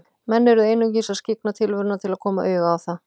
Menn yrðu einungis að skyggna tilveruna til að koma auga á það.